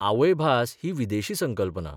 आवयभास ही विदेशी संकल्पना.